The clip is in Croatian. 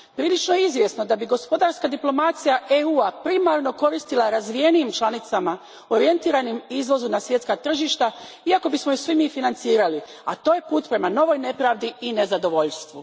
Prilično je izvjesno da bi gospodarska diplomacija EU a primarno koristila razvijenijim članicama orijentiranim izvozu na svjetska tržišta, iako bismo ju svi mi financirali, a to je put prema novoj nepravdi i nezadovoljstvu.